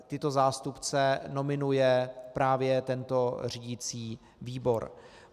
Tyto zástupce nominuje právě tento řídicí výbor.